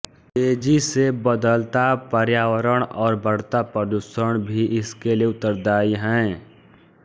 तेजी से बदलता पर्यावरण और बढ़ता प्रदूषण भी इसके लिए उत्तरदाई है